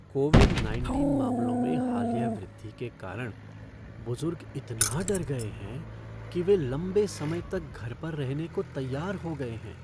Covid nineteen मामलों में हालिया वृद्धि के कारण बुजुर्ग इतना डर गए हैं कि वे लंबे समय तक घर पर रहने को तैयार हो गए हैं।